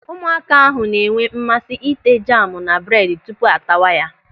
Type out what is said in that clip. Ụmụaka ahụ na-enwe mmasị ị́tè jamu na bredi tupu a tawa ya.